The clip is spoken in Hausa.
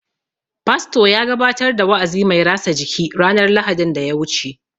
Fasto ya gabatar da wa'azi mai rasa jiki ranar Lahadin daya wuce